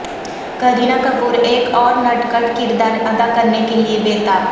کرینہ کپور ایک اورنٹ کھٹ کردار اداکرنے کیلئے بے تاب